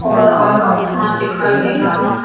और अ आसमान दिखाई दे रहा है।